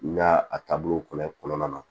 N y'a a taabolo kɔrɔ in kɔnɔna na